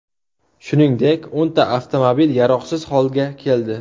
Shuningdek, o‘nta avtomobil yaroqsiz holga keldi.